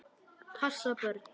Passa börn?